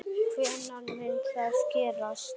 Hvenær mun það gerast?